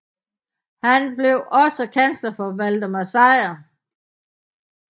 Han blev også kansler for Valdemar Sejr